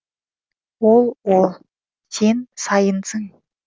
ол ол сен сайынсың